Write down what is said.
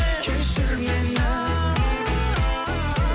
кешір мені